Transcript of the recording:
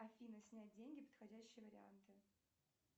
афина снять деньги подходящие варианты